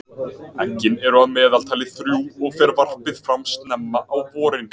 Eggin eru að meðaltali þrjú og fer varpið fram snemma á vorin.